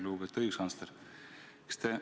Lugupeetud õiguskantsler!